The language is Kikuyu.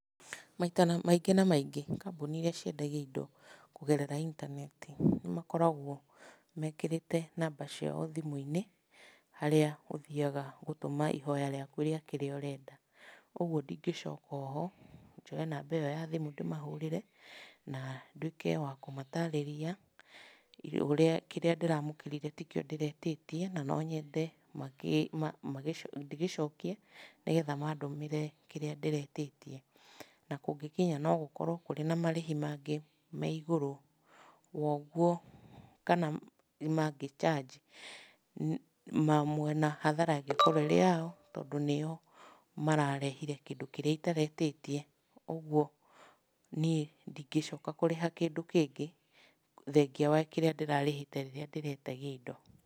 Maita na maingĩ na maingĩ, kambuni irĩa ciendagia indo kũgerera intaneti, nĩ makoragwo mekĩrĩte namba ciao thimũ-inĩ, harĩa ũthiaga gũtũma ihoya rĩaku rĩa kĩrĩa ũrenda. Ũguo ndingĩcoka oho, njoe namba ĩyo ya thimũ ndĩmahũrĩre, na nduike wa kũmatarĩria ũrĩa kĩrĩa ndĩramũkĩrire ti kĩo ndĩretĩtie, na no nyende ndĩgĩcokie, nĩgetha mandũmĩre kĩrĩa ndĩretĩtie. Na kũngĩkinya no gũkorwo kũrĩ na marĩhi mangĩ me igũrũ wa ũguo kana mangĩ charge, mamwe hathara ĩngĩkorwo ĩrĩ yao ,tondũ nĩo mararehire kĩndũ kĩrĩa itaretĩtie. Ũguo niĩ ndingĩcoka kũrĩha kĩndũ kĩngĩ, thengia wa kĩrĩa ndĩrarĩhĩte rĩrĩa ndĩretagia indo.